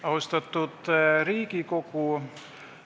Austatud Riigikogu!